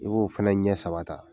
I b'o fana ɲɛ saba ta